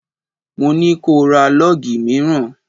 Mo ní ko ra lọ́gì mìíràn!